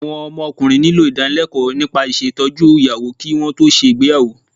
Àwọn ọmọkùnrin nílò ìdánilẹ́kọ̀ọ́ nípa ìṣètọ́jú ìyàwó kí wọn tó ṣe ìgbéyàwó